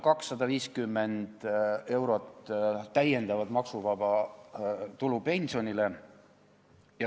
250 eurot pensionäridele täiendavat maksuvaba tulu.